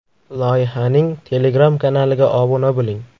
Loyihaning Telegram kanaliga obuna bo‘ling.